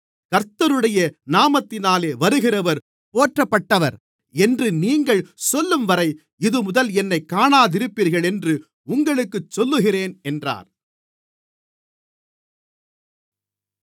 கர்த்தருடைய நாமத்தினாலே வருகிறவர் போற்றப்பட்டவர் என்று நீங்கள் சொல்லும்வரை இதுமுதல் என்னைக் காணாதிருப்பீர்கள் என்று உங்களுக்குச் சொல்லுகிறேன் என்றார்